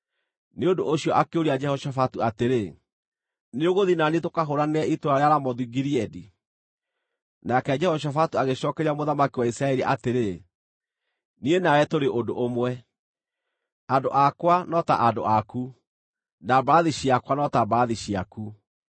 Nĩ ũndũ ũcio akĩũria Jehoshafatu atĩrĩ, “Nĩũgũthiĩ na niĩ tũkahũũranĩre itũũra rĩa Ramothu-Gileadi?” Nake Jehoshafatu agĩcookeria mũthamaki wa Isiraeli atĩrĩ, “Niĩ nawe tũrĩ ũndũ ũmwe, andũ akwa no ta andũ aku, na mbarathi ciakwa no ta mbarathi ciaku.”